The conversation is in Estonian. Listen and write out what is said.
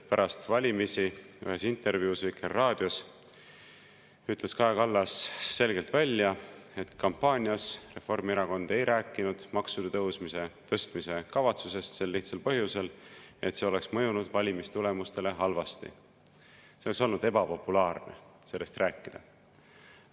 Pärast valimisi ühes intervjuus Vikerraadiole ütles Kaja Kallas selgelt välja, et kampaanias Reformierakond ei rääkinud maksude tõstmise kavatsusest sel lihtsal põhjusel, et see oleks mõjunud valimistulemustele halvasti, oleks olnud ebapopulaarne sellest rääkida.